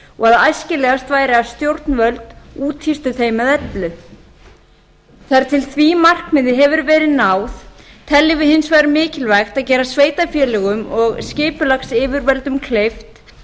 og æskilegast væri að stjórnvöld úthýstu þeim með öllu þar til því markmiði hefur verið náð teljum við hins vegar mikilvægt að gera sveitarfélögum og skipulagsyfirvöldum kleift